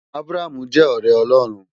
Abraham jè òrè Òlòrún